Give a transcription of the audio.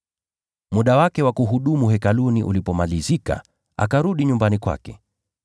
Muda wake wa kuhudumu Hekaluni ulipomalizika, akarudi nyumbani kwake.